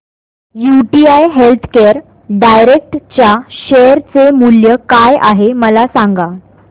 UTI healthcare direct च्या share चे मूल्य काय आहे मला सांगा